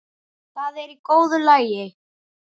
Það er í góðu lagi.